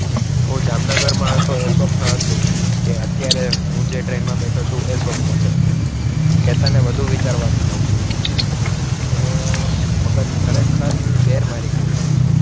હું જામનગરમાં હતો એ સ્વપ્ન હતું કે અત્યારે હું જે ટ્રેનમાં બેઠો છું એ સ્વપ્ન છે. કેતને વધુ વિચારવાનું માંડી વાળુ. એણે મગજ ખરેખર બેડ મારી ગયું હતું.